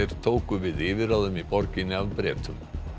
tóku við yfirráðum í borginni af Bretum